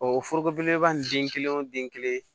o forogo belebeleba nin den kelen o den kelen